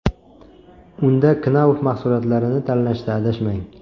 Unda KNAUF mahsulotlarini tanlashda adashmang.